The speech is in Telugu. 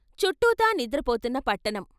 చుట్టూతా నిద్రపోతున్న పట్టణం.